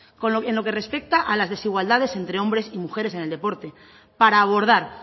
en lo que respecta a las desigualdades entre hombres y mujeres en el deporte para abordar